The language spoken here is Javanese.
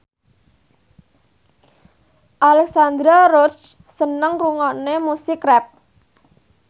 Alexandra Roach seneng ngrungokne musik rap